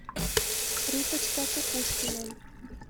риточка кукушкина